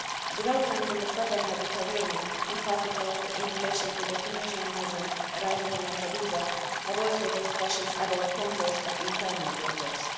Developments in the southern Mediterranean, in particular in relation to the Tunisian migrants arriving in Lampedusa, have also raised questions about controls at internal borders.